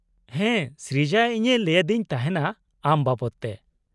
-ᱦᱮᱸ ᱥᱨᱤᱡᱟ ᱤᱧᱮ ᱞᱟᱹᱭᱟᱫᱤᱧ ᱛᱟᱦᱮᱸᱱᱟ ᱟᱢ ᱵᱟᱵᱚᱫᱛᱮ ᱾